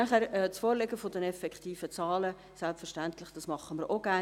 Das Vorlegen der effektiven Zahlen machen wir selbstverständlich auch gerne.